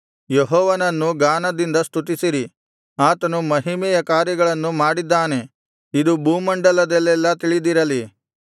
ಯೆಹೋವನನ್ನು ಗಾನದಿಂದ ಸ್ತುತಿಸಿರಿ ಆತನು ಮಹಿಮೆಯ ಕಾರ್ಯಗಳನ್ನು ಮಾಡಿದ್ದಾನೆ ಇದು ಭೂಮಂಡಲದಲ್ಲೆಲ್ಲಾ ತಿಳಿದಿರಲಿ